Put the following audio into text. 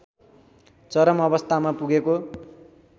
चरम अवस्थामा पुगेको